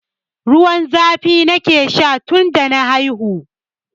Ruwan zafi nake sha tun da na haihu.